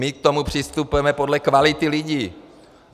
My k tomu přistupujeme podle kvality lidí!